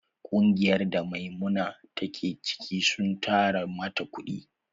Ƙungiyar da Maimuna ta ke ciki sun tara mata kuɗi.